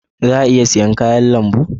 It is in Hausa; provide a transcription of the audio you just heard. Za a iya siyan kayan lambu?